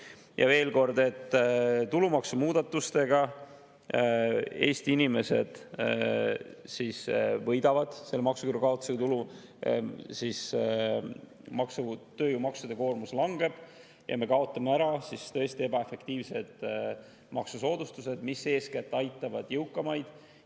Ja veel kord, tulumaksumuudatustega Eesti inimesed võidavad, selle maksuküüru kaotamisega tulu, tööjõumaksude koormus langeb ja me kaotame ära tõesti ebaefektiivsed maksusoodustused, mis eeskätt aitavad jõukamaid.